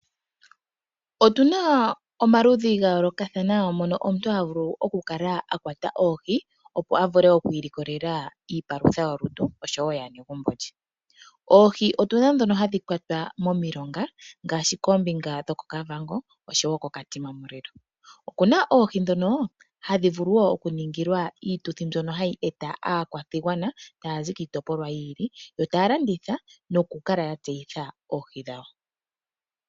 Otuna omaludhi ga yoolokathana mono omuntu ha vulu okukwata oohi, opo a vule okwiilikolela iipalutha yolutu oshowo yaanegumbo lye. Oohi otuna ndhono hadhi kwatwa momilonga kombinga yoKavango oshowo Katima mulilo. Okuna wo oohi ndhono hadhi vulu oku ningilwa iituthi mbyono hayi eta aakwashigwana taya zi kiitopolwa yiili, taya landitha noku kala ya tseyitha oohi dhawo.